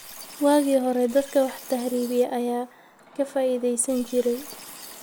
Waagii hore, dadka wax tahriibiya ayaa ka faa�iidaysan jiray.